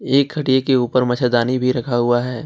एक खटिया के ऊपर मच्छरदानी भी रखा हुआ है।